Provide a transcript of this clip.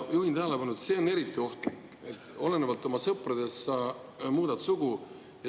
Juhin tähelepanu, et see on eriti ohtlik, kui olenevalt oma sõpradest sa muudad sugu.